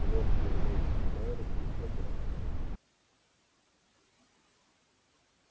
лорд вернулся к мэру и сказал